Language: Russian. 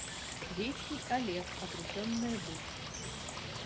вещий олег обретенная быль